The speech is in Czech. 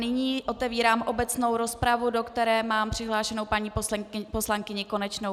Nyní otevírám obecnou rozpravu, do které mám přihlášenou paní poslankyni Konečnou.